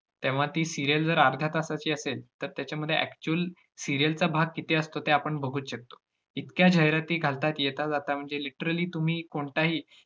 तेव्हा ती serial जर अर्ध्यातासाची असेल, तर त्याच्यामध्ये actual serial चा भाग किती असतो ते आपण बघुच शकतो. इतक्या जाहिराती घालतात येताजाता म्हणजे literally तुम्ही कोणताही